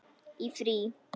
Í frí.